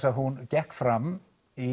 að hún gekk fram í